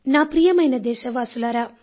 నా ప్రియమైన దేశవాసులారా